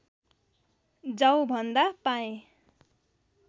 जाउ भन्दा पाएँ